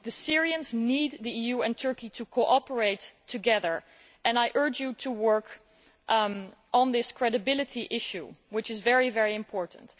The Syrians need the EU and Turkey to cooperate and I urge you to work on this credibility issue, which is very important.